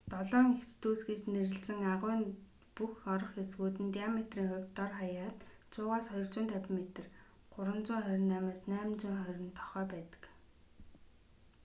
долоон эгч дүүс” гэж нэрлэсэн агуйн бүх орох хэсгүүд нь диаметрийн хувьд дор хаяад 100-с 250 метр 328-с 820 тохой байдаг